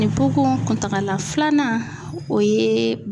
Ni koko kuntagala filanan o ye.